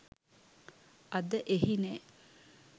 අද එහි නෑ.